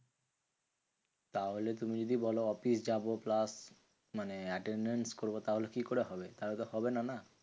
তাহলে তুমি যদি বলো অফিস যাবো plus মানে attendance করবো তাহলে কি করে হবে? তাহলে তো হবেনা না?